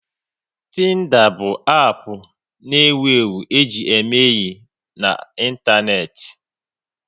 Tinda bụ app na ewu ewu e ji eme enyi n'Ịntaneti